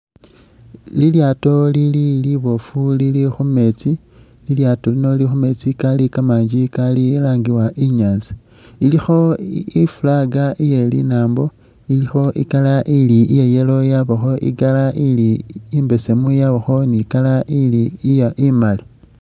Lilyato lili liboofu lili khumeetsi lilyato lili khumeetsi kali kamanji kalangiwa inyatsa ilikho ifag iye linambo ilikho i'color ili ya yellow yabakho i'color ili imbesemu yabakho ni i'color ili imali.